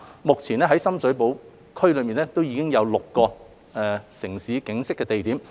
目前在深水埗區內已有6個"城市景昔"地點。